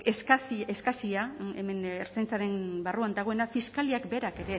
eskasia hemen ertzaintzaren barruan dagoena fiskaliak berak